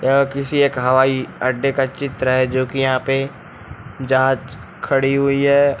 यह किसी एक हवाई अड्डे का चित्र है जो कि यहां पे जहाज खड़ी हुई है।